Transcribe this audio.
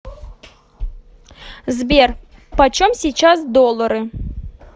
сбер почем сейчас доллары